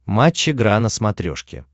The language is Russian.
матч игра на смотрешке